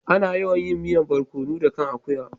Ana yawan yin miyan borkonu da kai akuya.